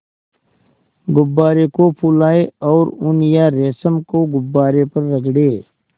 गुब्बारे को फुलाएँ और ऊन या रेशम को गुब्बारे पर रगड़ें